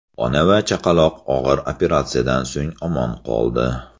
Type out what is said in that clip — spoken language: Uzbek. Ona va chaqaloq og‘ir operatsiyadan so‘ng omon qoldi.